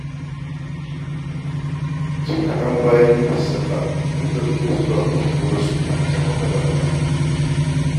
Jim kaɗan bayan yi musu salla, an ɗauke zuwa kushewarsu a can maƙabarta.